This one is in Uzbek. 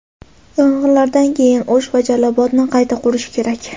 Yong‘inlardan keyin O‘sh va Jalolobodni qayta qurish kerak.